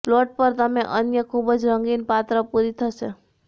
plot પર તમે અન્ય ખૂબ જ રંગીન પાત્ર પૂરી થશે